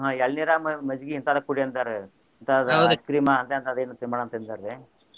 ಹ್ಮ್ ಎಳ್ನೀರ ಮಜ್ಜಿಗಿ ಇಂತಾದ್ ಕುಡಿ ಅಂದಾರ ಇಂತಾದ್ ice cream ಅಂತಾ ಇಂತಾದ್ ಏನು ತಿನ್ಬ್ಯಾಡ ಅಂತ ಅಂದಾ ರಿ.